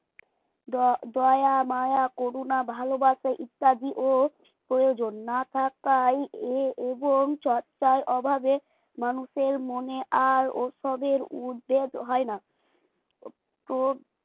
দয়া দয়া মায়া করুণা ভালোবাসা ইত্যাদি ও প্রয়োজন না থাকায় এ এবং চর্চা অভাবে মানুষের মনে আর ওসবের উদ্যোগ হয় না প্রো